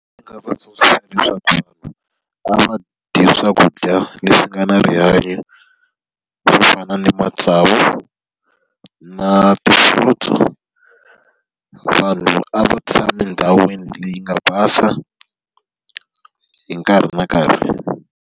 Ndzi nga tsundzuxa leswaku a va dye swakudya leswi nga na rihanyo, swo fana na matsavu, na ti-fruits. Vanhu a va tshame endhawini leyi nga basa hi nkarhi na nkarhi.